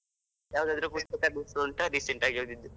ಯಾವದಾದ್ರು ಪುಸ್ತಕದ್ದು ಹೆಸ್ರು ಉಂಟಾ? recent ಆಗಿ ಓದಿದ್ದು.